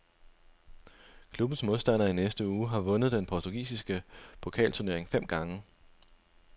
Klubbens modstander i næste uge har vundet den portugisiske pokalturnering fem gange.